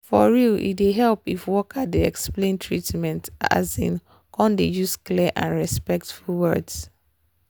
for real e dey help if worker dey explain treatment asin come dey use clear and and respectful words